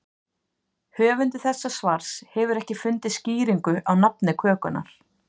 Höfundur þessa svars hefur ekki fundið skýringu á nafni kökunnar.